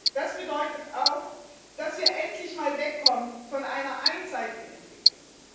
Das bedeutet auch, dass wir endlich einmal wegkommen von einer einseitigen Entwicklung.